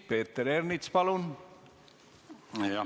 Peeter Ernits, palun!